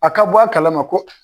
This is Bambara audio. A ka bɔ a kalama ko